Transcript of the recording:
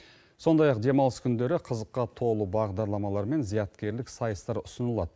сондай ақ демалыс күндері қызыққа толы бағдарламалар мен зияткерлік сайыстар ұсынылады